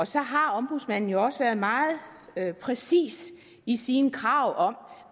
så har ombudsmanden jo også være meget præcis i sine krav om